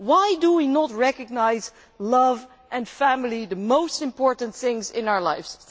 Why do we not recognise love and family, the most important things in our lives?